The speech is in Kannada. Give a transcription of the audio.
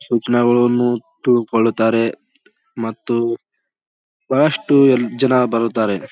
ಸ್ವಪ್ನಗಳು ತುಳು ಕೊಳ್ಳುತ್ತಾರೆ. ಮತ್ತು ಬಹಳಷ್ಟು ಯಲ್ ಜನ ಬರುತ್ತಾರೆ.